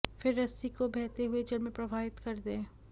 फिर रस्सी को बहते हुए जल में प्रवाहित कर दें